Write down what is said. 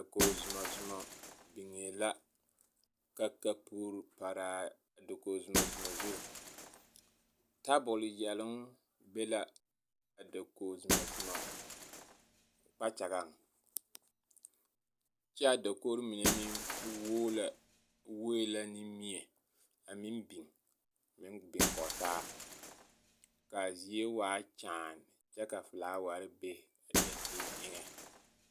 Dakogi-zumazuma biŋɛɛ la ka kapuri paraa a dakogi-zumazuma zu tabol yɛloŋ be la a dakogi-zumazuma kpakyagaŋ kyɛ a dakogiri mine meŋ wuoe la ne mie a meŋ biŋ kɔge taa ka a zie waa kyaane kyɛ ka felaaware be a dankyini eŋɛ.